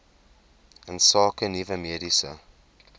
insake nuwe mediese